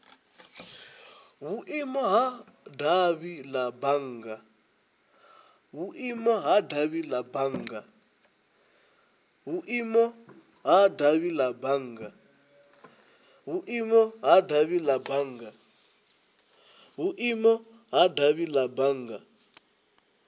vhuimo ha davhi la bannga